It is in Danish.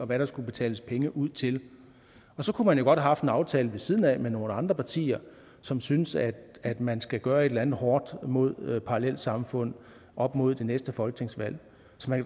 hvad der skulle betales penge ud til og så kunne man jo godt have haft en aftale ved siden af med nogle andre partier som synes at at man skal gøre et eller andet hårdt mod parallelsamfund op mod det næste folketingsvalg så